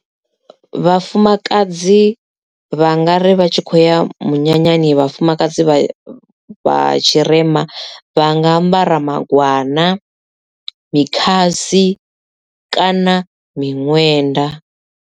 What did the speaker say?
Vhafumakadzi vha nga ri vha tshi khou ya munyanyani vhafumakadzi vha vha tshirema vha nga ambara magwana mikhasi kana miṅwenda.